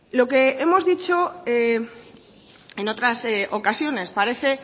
lo que hemos dicho en otras ocasiones parece